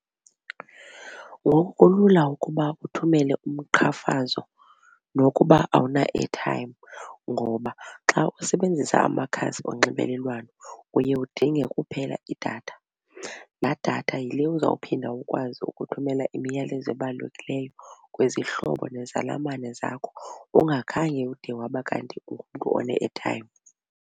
Ngoku kulula ukuba uthumele umqhamfazo nokuba awuna airtime ngoba xa usebenzisa amakhasi onxibelelwano uye udinge kuphela idatha. Laa datha yile uzawuphinda ukwazi ukuthumelela imiyalezo ebalulekileyo kwizihlobo nezalamane zakho ungakhange ude waba kanti ungumntu one-airtime.